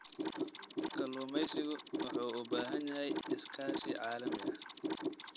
Kalluumaysigu wuxuu u baahan yahay iskaashi caalami ah.